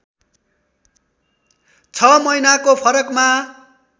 छ महिनाको फरकमा